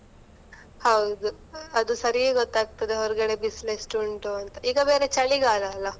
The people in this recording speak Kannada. ಹೌದು, ಅದು ಸರೀ ಗೊತ್ತಾಗ್ತದೆ ಹೊರ್ಗಡೆ ಬಿಸಿಲು ಎಷ್ಟು ಉಂಟು ಅಂತ, ಈಗ ಬೇರೆ ಚಳಿಗಾಲ ಅಲ್ಲ?